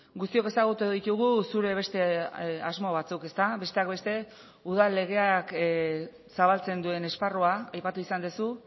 guztiok ezagutu ditugu zure beste asmo batzuk besteak beste udal legeak zabaltzen duen esparrua aipatu izan duzu